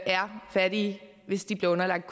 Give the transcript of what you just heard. er fattige hvis de bliver underlagt